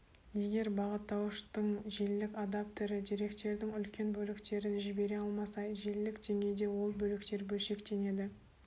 егер бағыттауыштың желілік адаптері деректердің үлкен бөліктерін жібере алмаса желілік деңгейде ол бөліктер бөлшектенеді